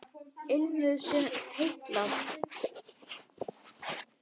Ilmur sem heillar